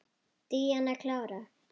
Díana klára.